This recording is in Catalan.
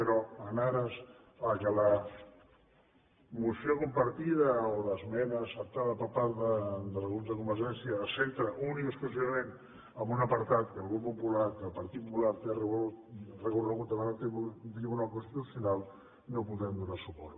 però en ares que la moció compartida o l’esmena acceptada per part del grup de convergència es centra únicament i exclusivament en un apartat que el grup popular que el partit popular té recorregut davant el tribunal constitucional no hi podrem donar suport